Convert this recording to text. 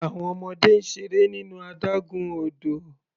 Àwọn ọmọdé ń seré nínú adágún odò.